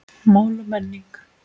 Mál og menning